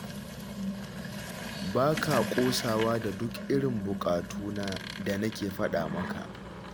Ba ka ƙosawa da duk irin buƙatu na da nake faɗa maka